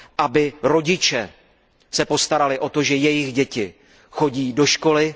aby se rodiče postarali o to, že jejich děti chodí do školy.